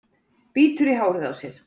Bítur í hárið á sér.